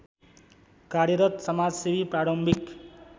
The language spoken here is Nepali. कार्यरत समाजसेवी प्रारम्भिक